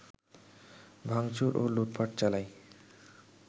ভাংচুর ও লুটপাট চালায়